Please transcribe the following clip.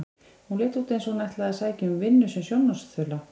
Hún leit út eins og hún ætlaði að sækja um vinnu sem sjónvarpsþula.